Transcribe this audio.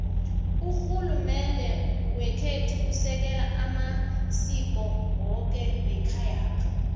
rhulumende wekhethu usekela amasiko woke wekhayapha